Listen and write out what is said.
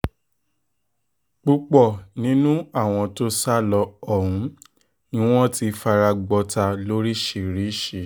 púpọ̀ nínú àwọn tó sá lọ ọ̀hún ni wọ́n ti fara gbọ́tà lóríṣìíríṣìí